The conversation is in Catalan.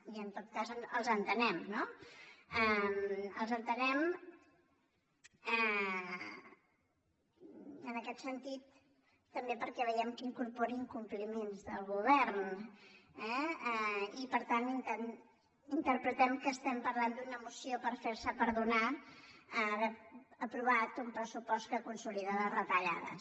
i en tot cas els entenem no els entenem en aquest sentit també perquè veiem que incorpora incompliments del govern eh i per tant interpretem que parlem d’una moció per fer se perdonar haver aprovat un pressupost que consolida les retallades